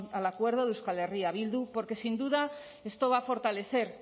al acuerdo de euskal herria bildu porque sin duda esto va a fortalecer